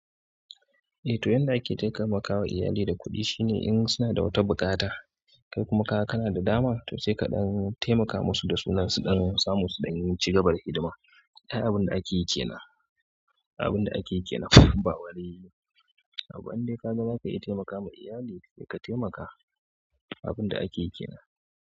Eh to yanda ake taikaimakawa iyali da kuɗi shine in suna da wata buƙata kai kuma ka ga kana da daman to sai kaɗan taimaka musu da sunan su ɗan samu su ɗan cigaba hidima. Da abin da ake yi kenan, abin da ake yi kenan ba wani abu ba in dai ka ga za ka iya taimaka ma iyali, to ka taimaka. Abunda ake kenan.